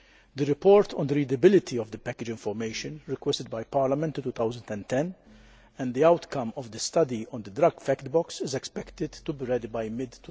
The report on the readability of the package information requested by Parliament in 2010 and the outcome of the study on the drug fact box is expected to be ready by mid